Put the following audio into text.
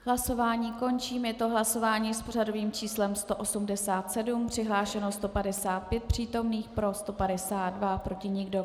Hlasování končím, je to hlasování s pořadovým číslem 187, přihlášeno 155 přítomných, pro 152, proti nikdo.